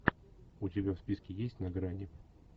у тебя в списке есть на грани